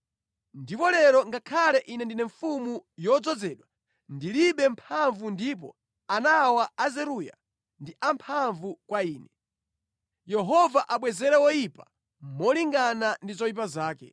Ndipo lero, ngakhale ine ndine mfumu yodzozedwa, ndilibe mphamvu ndipo ana awa a Zeruya ndi amphamvu kwa ine. Yehova abwezere woyipa molingana ndi zoyipa zake!”